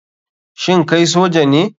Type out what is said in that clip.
Shin kai soja ne